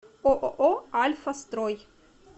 ооо альфа строй